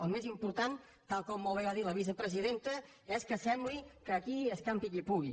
el més important tal com molt bé ha dit la vicepresidenta és que sembli que aquí és campi qui pugui